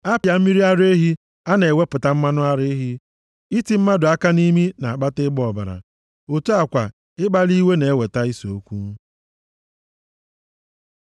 A pịaa mmiri ara ehi a na-ewepụta mmanụ ara ehi; iti mmadụ aka nʼimi na-akpata ịgba ọbara, otu a kwa ikpali iwe na-eweta ise okwu.”